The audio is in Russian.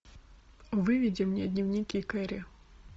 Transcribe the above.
выведи мне дневники кэрри